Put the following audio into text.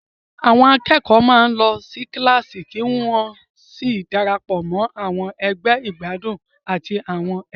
Àwọn akẹ́kọ̀ọ́ máa ń lọ sí kíláàsì kí wọ́n sì darapọ̀ mọ́ àwọn ẹgbẹ́ ìgbádùn àti àwọn ẹgbẹ́.